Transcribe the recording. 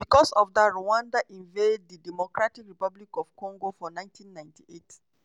bicos of dat rwanda invade dr congo for 1998.